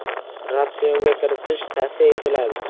Ratsionga kiritish tavsiya etiladi.